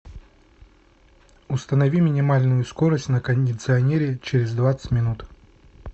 установи минимальную скорость на кондиционере через двадцать минут